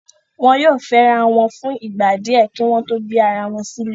Wọn yóò fẹ́rawọn wọn fún ìgbà díẹ kí wọ́n tó gbé ara wọn silé